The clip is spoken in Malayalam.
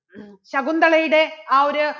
ശകുന്തളയുടെ ആ ഒരു